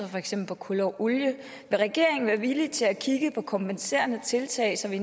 for eksempel kul og olie vil regeringen være villig til at kigge på kompenserende tiltag så vi